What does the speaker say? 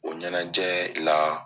O ɲɛnajɛ la